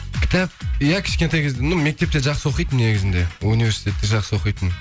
кітап иә кішкентай кезден ну мектепте жақсы оқитынмын негізінде университетте жақсы оқитынмын